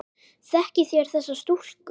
Þekkið þér þessa stúlku?